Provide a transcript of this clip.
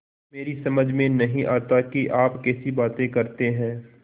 मेरी समझ में नहीं आता कि आप कैसी बातें करते हैं